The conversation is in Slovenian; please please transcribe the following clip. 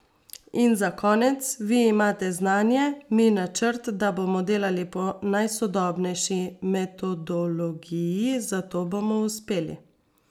In za konec: 'Vi imate znanje, mi načrt, da bomo delali po najsodobnejši metodologiji, zato bomo uspeli.